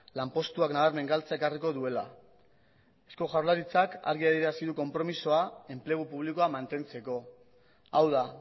lanpostuak nabarmen galtzea ekarriko duela eusko jaurlaritzak argi adierazi du konpromezua enplegu publikoa mantentzeko hau da